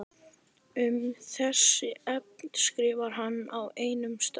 Um þessi efni skrifar hann á einum stað